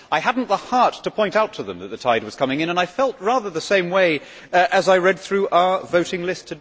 I had not the heart to point out to them that the tide was coming in, and today I felt rather the same way as I read through our voting list.